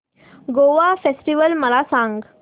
Goa festival मला सांग